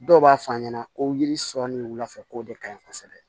Dɔw b'a fɔ a ɲɛna ko yiri sɔ ni wulafɛ k'o de kaɲi kosɛbɛ